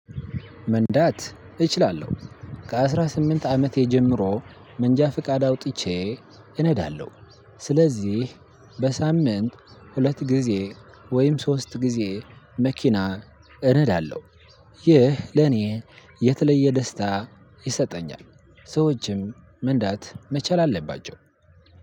መንዳት እችላለሁ ከአስራ ስምንት አመቴ ጀምሮ መንጃ ፍቃድ አውጥቼ እነዳለሁ ስለዚህ በሳምንት ሁለት ጊዜ ወይም ሶስት ጊዜ መኪና እነዳለሁ። ይህ ለኔ የተለየ ደስታ ይሰጠኛል። መንዳት መቻል አለባቸው።